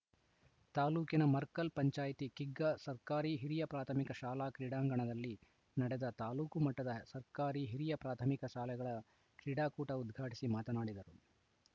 ತಾಲೂಕಿನ ಮರ್ಕಲ್‌ ಪಂಚಾಯಿತಿ ಕಿಗ್ಗಾ ಸರ್ಕಾರಿ ಹಿರಿಯ ಪ್ರಾಥಮಿಕ ಶಾಲಾ ಕ್ರೀಡಾಂಗಣದಲ್ಲಿ ನಡೆದ ತಾಲೂಕು ಮಟ್ಟದ ಸರ್ಕಾರಿ ಹಿರಿಯ ಪ್ರಾಥಮಿಕ ಶಾಲೆಗಳ ಕ್ರೀಡಾಕೂಟ ಉದ್ಘಾಟಿಸಿ ಮಾತನಾಡಿದರು